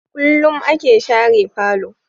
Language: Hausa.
Kullum a ke share falo